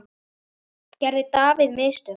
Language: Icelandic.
Gerði David mistök?